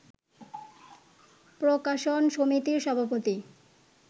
প্রকাশন সমিতির সভাপতি